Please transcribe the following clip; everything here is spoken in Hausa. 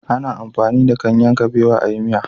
A na amfani da ganyen kabewa a yi miya